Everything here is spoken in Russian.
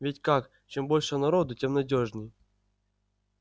ведь как чем больше народу тем надёжней